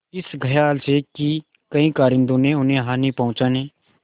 इस खयाल से कि कहीं कारिंदों ने उन्हें हानि पहुँचाने